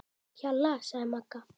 Hjalla, sagði Magga.